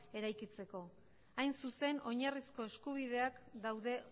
eraikitzeko hain zuzen oinarrizko eskubideak daude